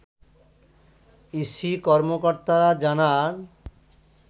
EC কর্মকর্তারা জানান